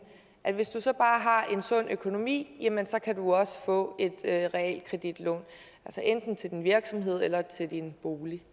sund økonomi jamen så kan du også få et realkreditlån til din virksomhed eller til din bolig